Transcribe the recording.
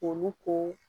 Olu ko